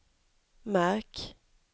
märk